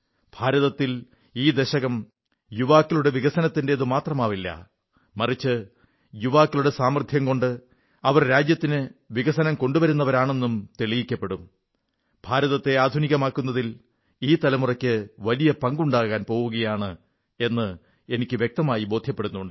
ഭാരതത്തിൽ ഈ ദശകം യുവാക്കളുടെ വികസനത്തിന്റേതുമാത്രമാവില്ല മറിച്ച് യുവാക്കളുടെ സാമർഥ്യം കൊണ്ട് അവർ രാജ്യത്തിന് വികസനം കൊണ്ടുവരുന്നവരുമാണെന്നും തെളിയിക്കപ്പെടും ഭാരതത്തെ ആധുനികമാക്കുന്നതിൽ ഈ തലമുറയ്ക്ക് വലിയ പങ്കുണ്ടാകാൻ പോകയാണ് എന്ന് എനിക്ക് വ്യക്തമായി ബോധ്യമുണ്ട്